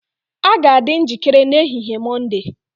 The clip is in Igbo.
A ga-adị njikere n'ehihie Mọnde